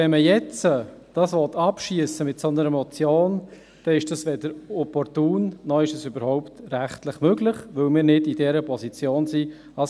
Wenn man dies aber jetzt mit einer solchen Motion abschiessen will, dann ist es weder opportun, noch ist es rechtlich überhaupt möglich, weil wir als Kanton nicht in der entsprechenden Position sind.